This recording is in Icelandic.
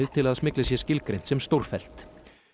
til að smyglið sé skilgreint sem stórfellt